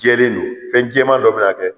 Jɛlen don , fɛn jɛman dɔ bɛ na dɛ